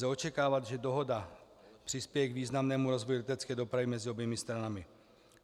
Lze očekávat, že dohoda přispěje k významnému rozvoji letecké dopravy mezi oběma stranami.